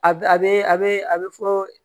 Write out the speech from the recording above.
A bɛ a bɛ a bɛ a bɛ fɔ